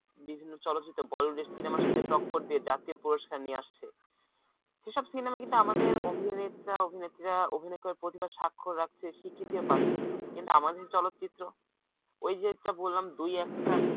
বিভিন্ন চলচ্চিত্রে bollywood র সিনেমার সাথে টক্কর দিয়ে জাতীয় পুরস্কার নিয়ে আসছে সেসব সিনেমা কিন্তু আমাদের অভিনেতা-অভিনেত্রীরা অভিনয় করে প্রতিভার স্বাক্ষর রাখছে স্বীকৃতি পাচ্ছে কিন্তু আমাদের চলচ্চিত্র ওই যেটা বললাম দুই একটা